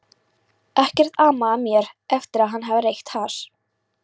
Ekkert amaði að mér eftir að hafa reykt hass.